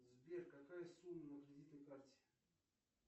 сбер какая сумма на кредитной карте